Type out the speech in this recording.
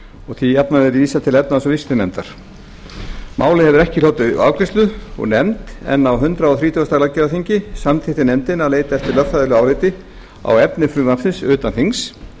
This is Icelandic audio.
og því jafnan verið vísað til efnahags og viðskiptanefndar málið hefur ekki hlotið afgreiðslu úr nefnd en á hundrað þrítugasta löggjafarþingi samþykkti nefndin að leita eftir lögfræðilegu áliti á efni frumvarpsins utan þings